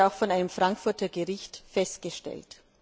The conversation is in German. Das wurde auch von einem Frankfurter Gericht festgestellt.